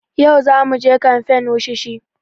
Yau za muje kamfen wushishi